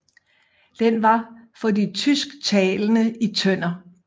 Den var for de tysktalende i Tønder